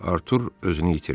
Artur özünü itirdi.